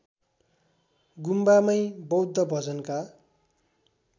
गुम्बामै बौद्ध भजनका